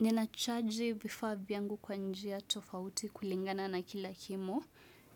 Ninacharge vifaa vyangu kwa njia tofauti kulingana na kila kimo.